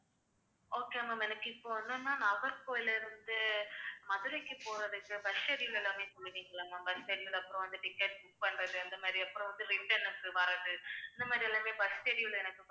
okay ma'am எனக்கு இப்ப என்னன்னா நாகர்கோவிலிலிருந்து மதுரைக்கு போறதுக்கு bus schedule எல்லாமே சொல்லுவீங்களா ma'am bus schedule அப்புறம் வந்து ticket book பண்றது அந்த மாதிரி அப்புறம் வந்து இந்த மாதிரி எல்லாமே bus schedule எனக்கு